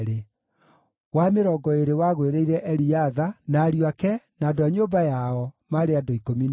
wa mĩrongo ĩĩrĩ wagũĩrĩire Eliatha, na ariũ ake, na andũ a nyũmba yao, maarĩ andũ 12;